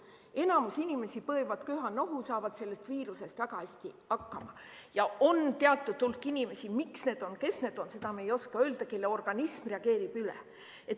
Enamik inimesi põevad köha-nohu, saavad selle viirusega väga hästi hakkama, aga on teatud hulk inimesi – miks need on, kes need on, seda me ei oska öelda –, kelle organism reageerib üle.